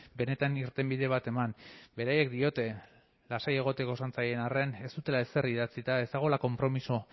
benetan irtenbide bat eman beraiek diote lasai egoteko esan zaien arren ez dutela ezer idatzita ez dagoela konpromiso